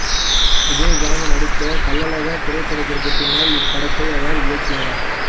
விஜயகாந்த நடித்த கள்ளழகர் திரைப்படத்திற்கு பின்னர் இப்படத்தை அவர் இயக்கினார்